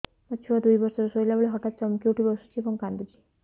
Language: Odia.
ମୋ ଛୁଆ ଦୁଇ ବର୍ଷର ଶୋଇଲା ବେଳେ ହଠାତ୍ ଚମକି ଉଠି ବସୁଛି ଏବଂ କାଂଦୁଛି